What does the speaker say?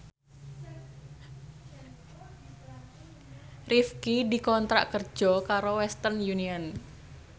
Rifqi dikontrak kerja karo Western Union